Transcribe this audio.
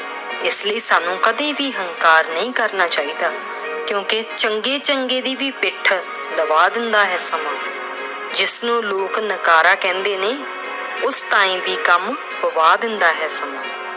ਇਸ ਲਈ ਸਾਨੂੰ ਕਦੇ ਵੀ ਹੰਕਾਰ ਨਹੀਂ ਕਰਨਾ ਚਾਹੀਦਾ ਕਿਉਂਕਿ ਚੰਗੇ-ਚੰਗੇ ਦੀ ਵੀ ਪਿੱਠ ਦਬਾ ਦਿੰਦਾ ਏ ਸਮਾਂ। ਜਿਸ ਨੂੰ ਲੋਕ ਨਕਾਰਾ ਕਹਿੰਦੇ ਨੇ, ਉਸ ਤਾਂ ਈ ਵੀ ਕੰਮ ਪਵਾ ਦਿੰਦਾ ਏ ਸਮਾਂ।